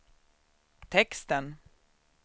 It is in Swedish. texten